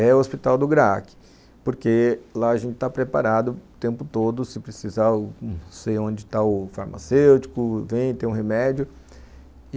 é o hospital do Graac, porque lá a gente está preparado o tempo todo, se precisar, sei onde está o farmacêutico, vem, tem um remédio.